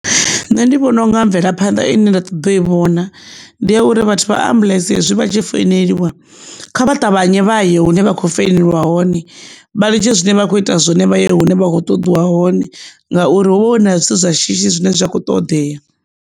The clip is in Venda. Nṋe ndi vhona u nga mvelaphanḓa ine nda ṱoḓa u i vhona ndi ya uri vhathu vha ambuḽentse hezwi vhatshi foneliwa kha vha ṱavhanye vhaya hune vha kho foneliwa hone vha litshe zwine vha kho ita zwone vha ye hune vha kho ṱoḓiwa hone ngauri hu vha hu na zwithu zwa shishi zwine zwa kho ṱoḓea.